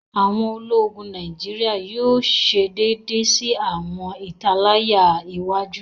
Awọn Ológùn Nàìjíríà yóò ṣe déédé sí awọn italaya iwájú